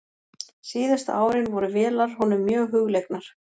Síðustu árin voru vélar honum mjög hugleiknar.